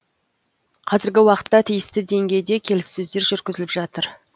қазіргі уақытта тиісті деңгейде келіссөздер жүргізіліп жатыр